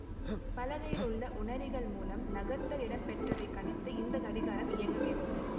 பலகையில் உள்ள உணரிகள் மூலம் நகர்த்தல் இடம்பெற்றதைக் கணித்து இந்த கடிகாரம் இயங்குகிறது